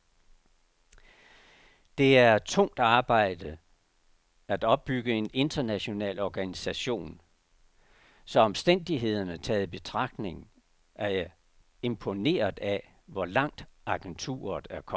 Det er tungt arbejde at opbygge en international organisation, så omstændighederne taget i betragtning er jeg imponeret af, hvor langt agenturet er kommet.